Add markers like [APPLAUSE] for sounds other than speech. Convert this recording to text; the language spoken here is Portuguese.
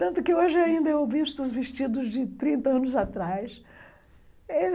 Tanto que hoje ainda eu visto os vestidos de trinta anos atrás. [UNINTELLIGIBLE]